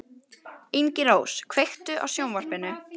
Ingirós, kveiktu á sjónvarpinu.